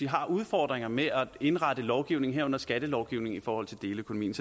har udfordringer med at indrette lovgivningen herunder skattelovgivningen i forhold til deleøkonomien